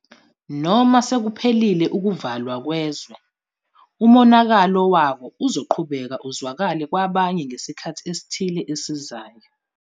Noma sekuphelile ukuvalwa kwezwe, umonakalo wako uzoqhubeka uzwakale kwabanye ngesikhathi esithile esizayo.